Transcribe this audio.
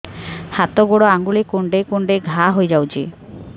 ହାତ ଗୋଡ଼ ଆଂଗୁଳି କୁଂଡେଇ କୁଂଡେଇ ଘାଆ ହୋଇଯାଉଛି